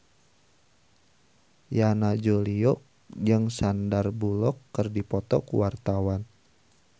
Yana Julio jeung Sandar Bullock keur dipoto ku wartawan